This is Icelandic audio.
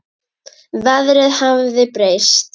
Veðrið hafði breyst.